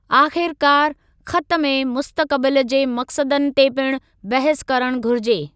आख़िरकारु, ख़तु में मुस्तक़बिलु जे मक़सदनि ते पिणु बहस करणु घुरिजे।